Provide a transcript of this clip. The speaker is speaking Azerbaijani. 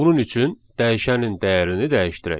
Bunun üçün dəyişənin dəyərini dəyişdirək.